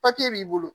Papiye b'i bolo